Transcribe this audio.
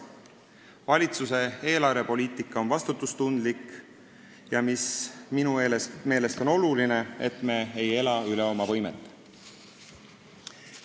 Valitsuse eelarvepoliitika on vastutustundlik ja minu meelest on oluline, et me ei ela üle oma võimete.